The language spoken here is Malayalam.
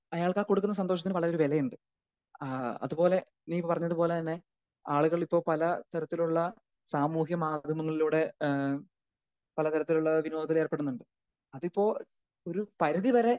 അയാൾക്ക് ആഹ് കൊടുക്കുന്ന സന്തോഷത്തിന് വളരെ ഏറെ ഒരു വിലയും ഉണ്ട്. ആഹ് അത് പോലെ നീ പറഞ്ഞത് പോലെ തന്നെ ആളുകൾ ഇപ്പൊ പല തരത്തിലുള്ള സാമൂഹ്യ മാധ്യമങ്ങളിലൂടെ ഏഹ് പല തരത്തിലുള്ള വിനോദത്തിൽ ഏർപ്പെടുന്നുണ്ട്. അതിപ്പോ ഒരു പരിതി വരെ.